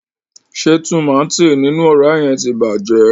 Ṣe tùmátìn ninu ọra yẹn ti bàjẹ́?